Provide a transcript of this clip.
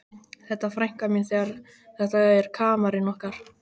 Þetta er frænka mín þetta er kamarinn okkar.